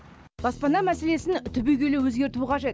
баспана мәселесін түбегейлі өзгерту қажет